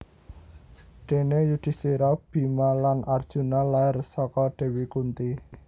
Déné Yudhistira Bima lan Arjuna lair saka Dewi Kunti